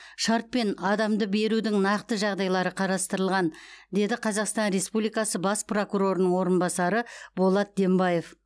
шартпен адамды берудің нақты жағдайлары қарастырылған деді қазақстан республикасы бас прокурорының орынбасары болат дембаев